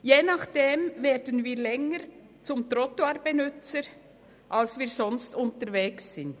Je nachdem werden wir länger zum Trottoirbenützer, als der wir sonst unterwegs sind.